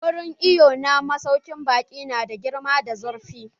Wurin iwon na masaukin baƙin nada girma da zurfi.